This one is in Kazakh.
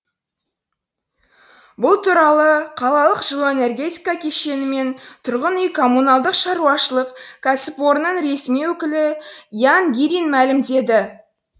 бұл туралы қалалық жылу энергетика кешені мен тұрғын үй коммуналдық шаруашылық кәсіпорынының ресми өкілі ян гирин мәлімдеді